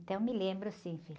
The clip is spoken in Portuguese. me lembro sim, filho.